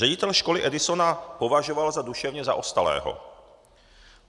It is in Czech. Ředitel školy Edisona považoval za duševně zaostalého.